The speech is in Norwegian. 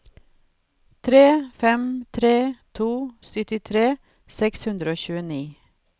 tre fem tre to syttitre seks hundre og tjueni